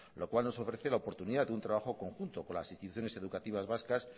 lo cual nos ofrece la oportunidad de un trabajo conjunto con las instituciones educativas vascas